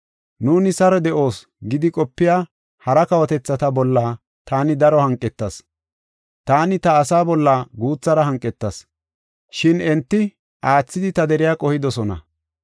Nuuni saro de7oos gidi qopiya hara kawotethata bolla taani daro hanqetas. Taani ta asaa bolla guuthara hanqetas, shin enti aathidi ta deriya qohidosona.’